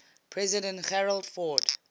president gerald ford